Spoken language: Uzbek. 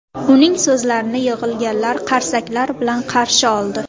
Uning so‘zlarini yig‘ilganlar qarsaklar bilan qarshi oldi.